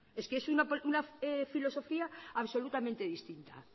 es que es una filosofía absolutamente distinta